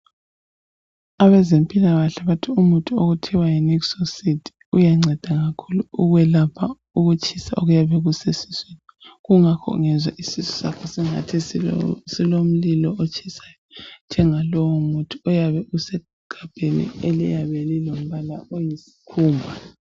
Abezimpilakahle bathi umuthi okuthiwa yi nixocide uyanceda kakhulu ukwelapha ukutshisa okuyabe kusesiswini. Kungakho ungezwa isisu sakho singathi silomlilo otshisayo njengalowo muthi oyabe usegabheni eliyabe lilombala oyisikhumba